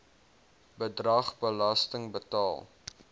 bedrag belasting betaal